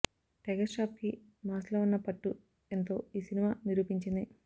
tiger ష్రాఫ్కి మాస్లో ఉన్న పట్టు ఎంతో ఈ సినిమా నిరూపించింది